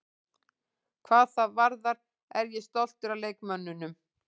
Hvað það varðar er ég stoltur af leikmönnunum.